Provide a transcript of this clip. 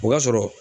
O ka sɔrɔ